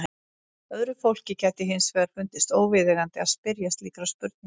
Öðru fólki gæti hins vegar fundist óviðeigandi að spyrja slíkra spurninga.